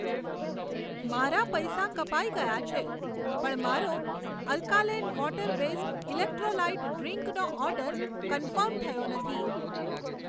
મારા પૈસા કપાઈ ગયા છે, પણ મારો અલ્કાલેન વોટર બેઝ્ડ ઇલેક્ટ્રોલાઈટ ડ્રીંકનો ઓર્ડર કન્ફર્મ થયો નથી.